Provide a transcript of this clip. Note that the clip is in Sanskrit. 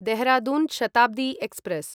देहरादून् शताब्दी एक्स्प्रेस्